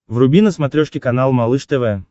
вруби на смотрешке канал малыш тв